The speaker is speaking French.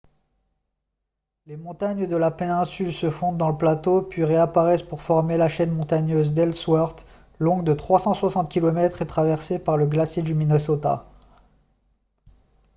les montagnes de la péninsule se fondent dans le plateau puis réapparaissent pour former la chaîne montagneuse d'ellsworth longue de 360 km et traversée par le glacier du minnesota